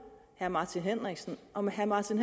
herre martin henriksen om herre martin